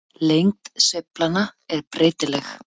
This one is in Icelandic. Lengd sveiflanna er breytileg.